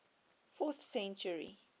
fourth century